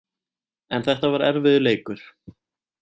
En þetta var erfiður leikur